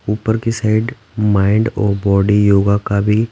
ऊपर की side mind और बॉडी योगा का भी--